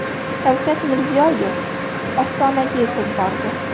Shavkat Mirziyoyev Ostonaga yetib bordi.